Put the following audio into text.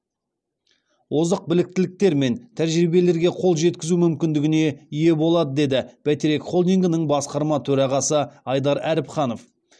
озық біліктіліктер мен тәжірибелерге қол жеткізу мүмкіндігіне ие болады деді бәйтерек холдингінің басқарма төрағасы айдар әріпханов